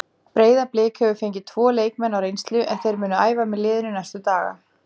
Breiðablik hefur fengið tvo leikmenn á reynslu en þeir munu æfa með liðinu næstu dagana.